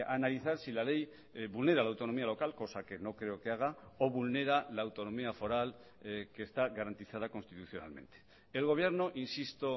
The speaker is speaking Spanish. a analizar si la ley vulnera la autonomía local cosa que no creo que haga o vulnera la autonomía foral que está garantizada constitucionalmente el gobierno insisto